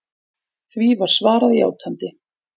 Því var svarað játandi.